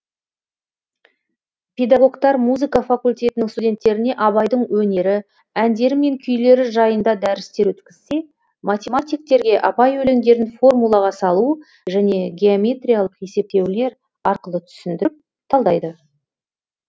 педагогтар музыка факультетінің студенттеріне абайдың өнері әндері мен күйлері жайында дәрістер өткізсе математиктерге абай өлеңдерін формулаға салу және геометриялық есептеулер арқылы түсіндіріп талдайды